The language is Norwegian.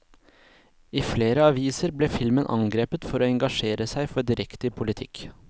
I flere aviser ble filmen angrepet for å engasjere seg for direkte i politikk.